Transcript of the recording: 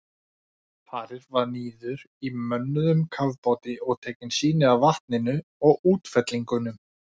Farið var niður í mönnuðum kafbáti og tekin sýni af vatninu og útfellingunum.